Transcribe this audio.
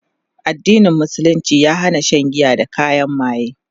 addinin musulunci ya Hana Shan giya da kayan maye